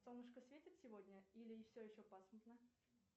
солнышко светит сегодня или все еще пасмурно